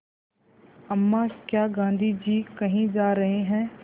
अम्मा क्या गाँधी जी कहीं जा रहे हैं